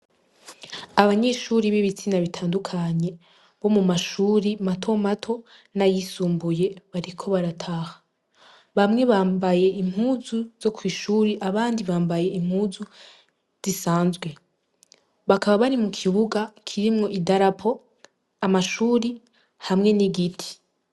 Abanyeshure b'ibitsina bitandukanye bo mumashure matomato n'ayisumbuye bariko barataha. Bamwe bambaye impuzu zo kw'ishure abandi bambaye impuzu izisanzwe; bakaba bari mukibuga kirimwo idarapo, amashure hamwe n'igiti.